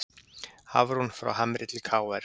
Hafrún frá Hamri til KR